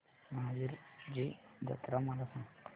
महावीरजी जत्रा मला सांग